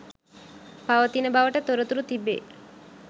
පවතින බවට තොරතුරු තිබේ